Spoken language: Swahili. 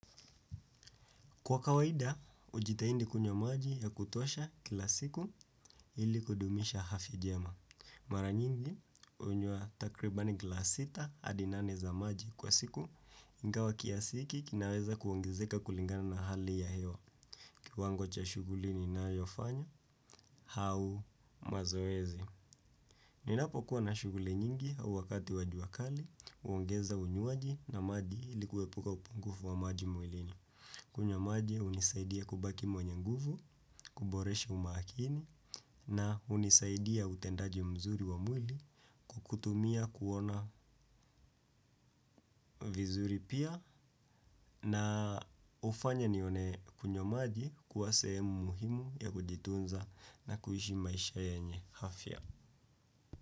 Kwa kawaida, hujitahidi kunywa maji ya kutosha kila siku ili kudumisha afya jema. Mara nyingi, hunywa takribani glass sita hadi nane za maji kwa siku, ingawa kiasi hiki kinaweza kuongezeka kulingana na hali ya hewa. Kiwango cha shughuli ninayofanya, au mazoezi. Ninapokuwa na shughuli nyingi au wakati wa jua kali, huongeza unywaji na maji ili kuepuka upungufu wa maji mwilini. Kunywa maji hunisaidia kubaki mwenye nguvu, kuboresha umakini na hunisaidia utendaji mzuri wa mwili kwa kutumia kuona vizuri pia na hufanye nione kunywa maji kuwa sehemu muhimu ya kujitunza na kuishi maisha yenye afya.